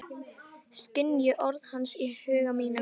Skynji orð hans í huga mínum.